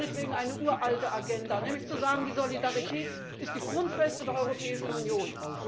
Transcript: Das ist meinetwegen eine uralte Agenda, nämlich zu sagen Die Solidarität ist die Grundfeste der Europäischen Union.